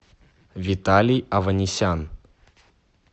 виталий аванесян